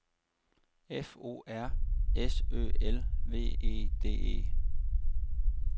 F O R S Ø L V E D E